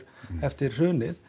eftir hrunið